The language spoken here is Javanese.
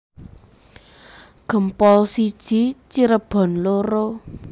Gempol siji Cirebon loro